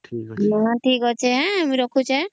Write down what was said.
ହଁ ଠିକ ଅଛେ ହେଁ ମୁଇଁ ରଖୁଛେ